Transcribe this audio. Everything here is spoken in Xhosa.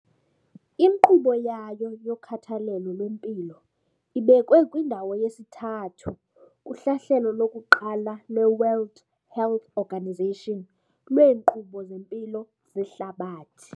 Inkqubo yayo yokhathalelo lwempilo ibekwe kwindawo yesi-3 kuhlahlelo lokuqala lweWorld Health Organisation lweenkqubo zempilo zehlabathi.